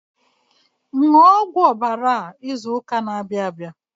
Ṅụọ ọgwụ ọbara izu ụka na-abịa abịa.